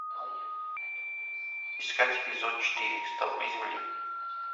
искать эпизод четыре столпы земли